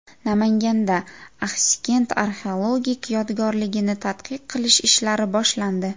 Namanganda Axsikent arxeologik yodgorligini tadqiq qilish ishlari boshlandi.